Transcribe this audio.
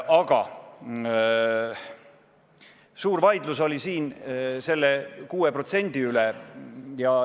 Aga suur vaidlus oli siin selle 6% üle.